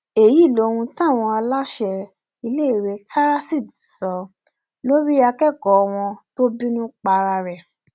èyí lohun táwọn aláṣẹ iléèwé taraseed sọ lórí akẹkọọ wọn tó bínú para ẹ